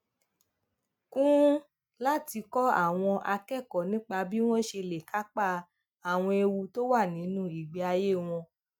kún un láti kọ àwọn akẹkọọ nípa bí wọn ṣe lè kápá àwọn ewu tó wà nínú ìgbé ayé wọn